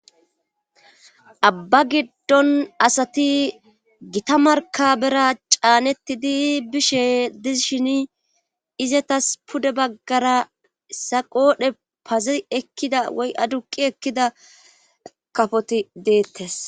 abba giddon asati gita markabera caanettidi bishe dishini izetas pude baggara issa qoodhe pazi ekkida woy aduqqi ekkida kafoti deettes.